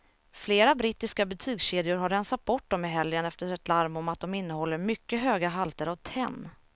Flera brittiska butikskedjor har rensat bort dem i helgen efter ett larm om att de innehåller mycket höga halter av tenn.